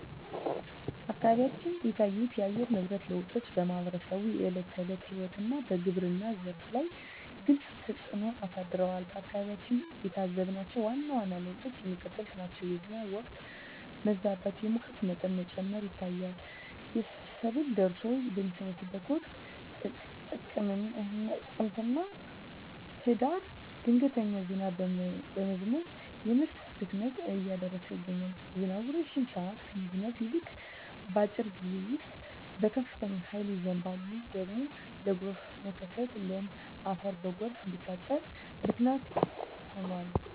አካባቢዎች የታዩት የአየር ንብረት ለውጦች በማኅበረሰቡ የዕለት ተዕለት ሕይወትና በግብርናው ዘርፍ ላይ ግልጽ ተፅእኖ አሳድረዋል። በአካባቢያችን የታዘብናቸው ዋና ዋና ለውጦች የሚከተሉት ናቸው፦ የዝናብ ወቅት መዛባት፣ የሙቀት መጠን መጨመር ይታያል። ሰብል ደርሶ በሚሰበሰብበት ወቅት (ጥቅምትና ህዳር) ድንገተኛ ዝናብ በመዝነብ የምርት ብክነትን እያደረሰ ይገኛል። ዝናቡ ረጅም ሰዓት ከመዝነብ ይልቅ፣ በአጭር ጊዜ ውስጥ በከፍተኛ ኃይል ይዘንባል። ይህ ደግሞ ለጎርፍ መከሰትና ለም አፈር በጎርፍ እንዲታጠብ ምክንያት ሆኗል።